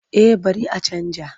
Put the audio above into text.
Eh bari a canja.